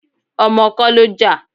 Ọmọ kọ́ ló jà.